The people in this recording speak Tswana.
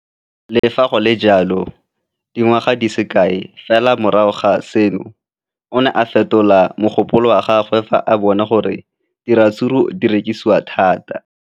Le fa go le jalo, dingwaga di se kae fela morago ga seno, o ne a fetola mogopolo wa gagwe fa a bona gore diratsuru di rekisiwa thata.